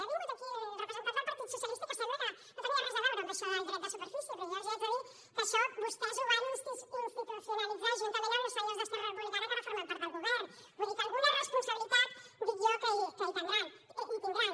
ha vingut aquí el representant del partit socialista que sembla que no tenia res a veure amb això del dret de superfície però jo els haig de dir que això vostès ho van institucionalitzar juntament amb els senyors d’esquerra republicana que ara formen part del govern vull dir que alguna responsabilitat dic jo que hi tindran